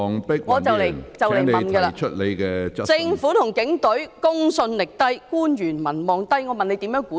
我快要提問的了......政府和警隊公信力低、官員民望低，政府如何繼續管治？